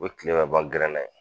O bɛ tile bɛ ban gɛrɛn na yen